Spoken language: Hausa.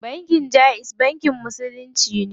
Banki jaiz bankin musulunci ne.